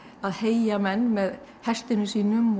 að heygja menn með hestinum sínum